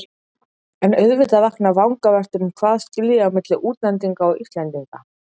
En auðvitað vakna vangaveltur um hvað skilji á milli útlendinga og Íslendinga.